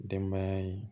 Denbaya in